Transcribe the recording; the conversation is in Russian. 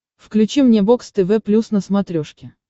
включи мне бокс тв плюс на смотрешке